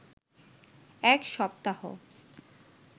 এক সপ্তাহ